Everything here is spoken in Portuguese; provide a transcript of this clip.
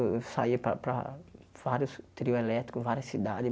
Eu eu saía para para vários trio elétrico, várias cidades.